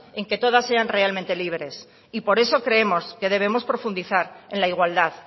en que todas sean realmente libres y por eso creemos que debemos profundizar en la igualdad